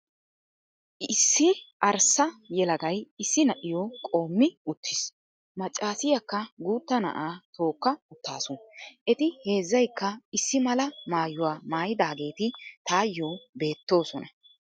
Issi arssa yelagay issi na'iyo qoommi uttis. Maccaasiyakka guutta na'aa tookka uttaasu. Eti heezzayikka issi mala maayuwa mayidaageeti tayyoo beettoosona.